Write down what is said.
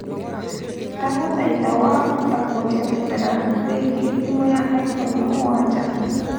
ndagũthaĩtha wahota kũnjerethera wĩigie thimũ ya iphone mũgwaja